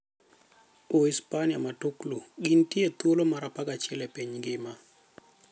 Uhispania Matuklu: Gintie e thuolo mar 11 e piny ngima.